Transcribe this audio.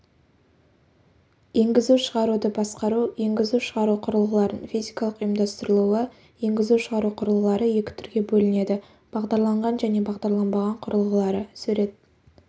енгізу-шығаруды басқару енгізу-шығару құрылғыларын физикалық ұйымдастырылуы енгізу-шығару құрылғылары екі түрге бөлінеді бағдарланған және бағдарланбаған құрылғылары сурет